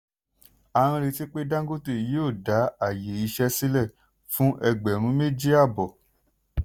a ń retí pé dangote yóò dá àyè iṣẹ́ sílẹ̀ fún ẹgbẹ̀rún méjì àbọ̀.